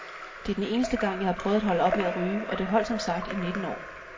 Det er den eneste gang, jeg har prøvet at holde op med at ryge, og det holdt som sagt i nitten år.